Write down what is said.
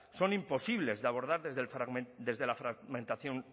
son imposibles de abordar desde la fragmentación